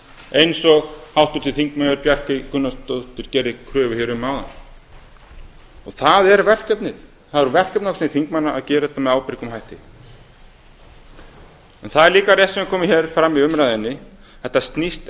eins og háttvirtur þingmaður bjarkey gunnarsdóttir gerði kröfu um hér áðan það er verkefnið það er verkefni okkar sem þingmanna að gera þetta með ábyrgum hætti en það er líka rétt sem hefur komið hér fram í umræðunni þetta snýst